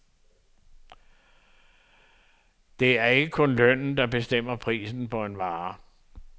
Det er ikke kun lønnen, der bestemmer prisen på en vare.